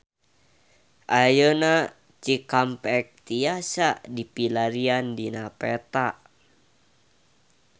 Ayeuna Cikampek tiasa dipilarian dina peta